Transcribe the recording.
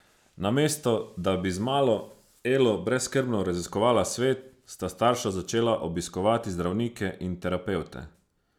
Namesto da bi z malo Elo brezskrbno raziskovala svet, sta starša začela obiskovati zdravnike in terapevte.